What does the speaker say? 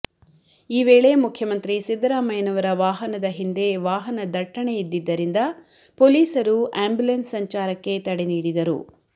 ಈ ವೇಳೆ ಮುಖ್ಯಮಂತ್ರಿ ಸಿದ್ದರಾಮಯ್ಯನವರ ವಾಹನದ ಹಿಂದೆ ವಾಹನದಟ್ಟಣೆ ಇದ್ದಿದ್ದರಿಂದ ಪೊಲೀಸರು ಆಂಬ್ಯುಲೆನ್ಸ್ ಸಂಚಾರಕ್ಕೆ ತಡೆ ನೀಡಿದರು